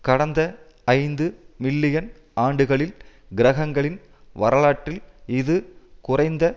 கடந்த ஐந்து மில்லியன் ஆண்டுகளில் கிரகங்களின் வரலாற்றில் இது குறைந்த